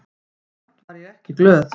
Samt var ég ekki glöð.